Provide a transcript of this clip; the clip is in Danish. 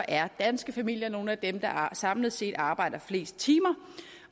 er danske familier nogle af dem der samlet set arbejder flest timer